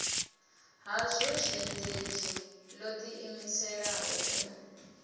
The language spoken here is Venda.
hazwo zhendedzhi lo diimiselaho u